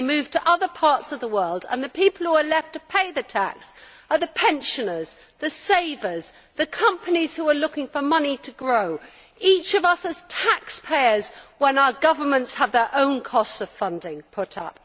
They move to other parts of the world, and the people who are left to pay the tax are the pensioners, the savers and the companies who are looking for money to grow each of us as taxpayers when our governments have their own costs of funding put up.